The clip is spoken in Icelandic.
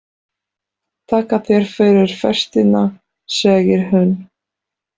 Þakka þér fyrir festina, segir hún.